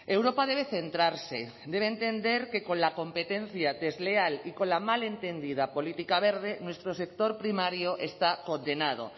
europa debe centrarse debe entender que con la competencia desleal y con la mal entendida política verde nuestro sector primario está condenado